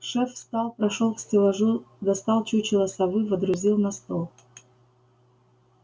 шеф встал прошёл к стеллажу достал чучело совы водрузил на стол